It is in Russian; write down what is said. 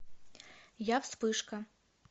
я вспышка